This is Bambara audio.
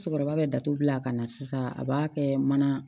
Cɛkɔrɔba bɛ datugu a kana sisan a b'a kɛ mana